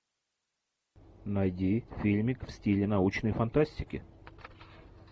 найди фильмик в стиле научной фантастики